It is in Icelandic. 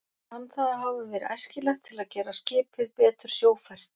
Kann það að hafa verið æskilegt til að gera skipið betur sjófært.